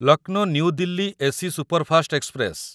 Lucknow New Delhi A C superfast express